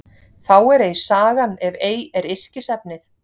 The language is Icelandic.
Þá er ei sagan ef ei er yrkisefnið.